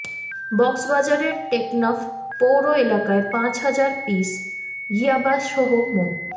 কক্সবাজারের টেকনাফ পৌর এলাকায় পাঁচ হাজার পিস ইয়াবাসহ মো